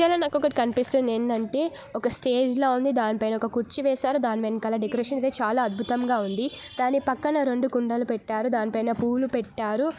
నాకు ఒకటి కనిపిస్తుంది. ఏంటంటే ఒక స్టేజి లా ఉంది. దానిపైన ఒక కుర్చీ వేశారు. దాని వెనకాల డెకరేషన్ అయితే చాలా అద్భుతంగా ఉంది. దాని పక్కన రెండు కుండలు పెట్టారు. దానిపై న పూలు పెట్టారు.